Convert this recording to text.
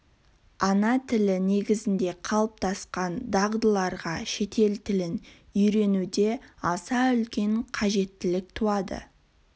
ана тілі негізінде қалыптасқан дағдыларға шетел тілін үйренуде аса үлкен қажеттілік туады